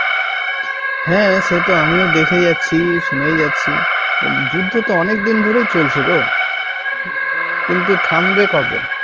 হ্যাঁ সে তো আমিও দেখে যাচ্ছি শুনেই যাচ্ছি যুদ্ধ তো অনেকদিন ধরেই চলছে গো কিন্তু থামবে কবে?